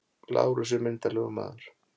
Lárus er myndarlegur maður.